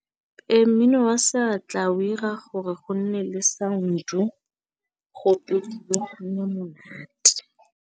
Ee, mmino wa seatla o 'ira gore go nne le sound-o go opediwe, go nne monate.